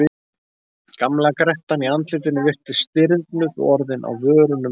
Gamla grettan í andlitinu virtist stirðnuð og orðin á vörunum rám.